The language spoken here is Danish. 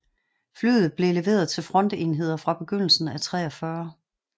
Flyet blev leveret til frontenheder fra begyndelsen af 1943